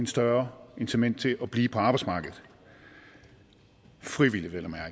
større incitament til at blive på arbejdsmarkedet frivilligt vel